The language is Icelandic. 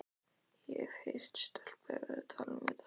Ég hef heyrt stelpur vera að tala um þetta.